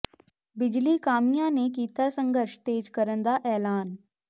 ਬਿਜਲੀ ਕਾਮਿਆਂ ਨੇ ਕੀਤਾ ਸੰਘਰਸ਼ ਤੇਜ ਕਰਨ ਦਾ ਐਲਾਨ